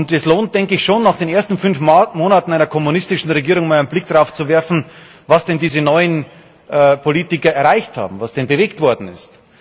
Es lohnt, denke ich, schon nach den ersten fünf Monaten einer kommunistischen Regierung einmal einen Blick darauf zu werfen, was denn diese neuen Politiker erreicht haben, was denn bewegt worden ist.